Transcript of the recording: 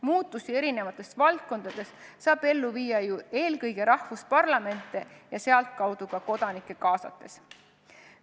Muutusi eri valdkondades saab ellu viia ju eelkõige riikide parlamente ja sedakaudu ka kodanikke kaasates.